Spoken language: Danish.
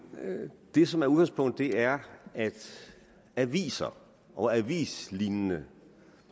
det som er udgangspunktet er at aviser og avislignende